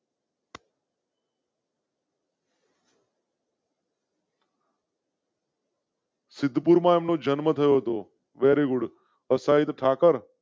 સિદ્ધપુર નો જન્મ થયો તો very good અસ્થાહિત ઠાકર.